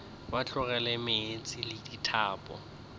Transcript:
ba tlogela meetse le dithapo